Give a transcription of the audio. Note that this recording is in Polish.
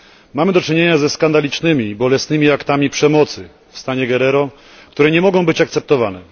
Mamy do czynienia ze skandalicznymi, bolesnymi aktami przemocy w stanie Guerrero, które nie mogą być akceptowane.